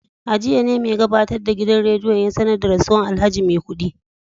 A jiya ne mai gabatar da gidan rediyon ya sanar da rasuwar alhaji maikudi